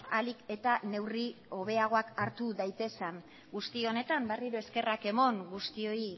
ahalik eta neurri hobeagoak hartu daitezen guzti honetan berriro eskerrak eman guztioi